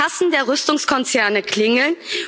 Die Kassen der Rüstungskonzerne klingeln.